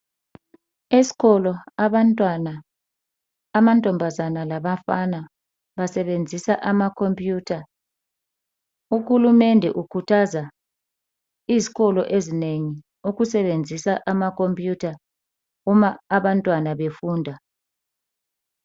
Esikolo abantwana amantombazane labafana basebenzisa ama computer. Uhulumende ukhuthaza izikolo ezinengi ukusebenzisa ama computer uma abantwana befunda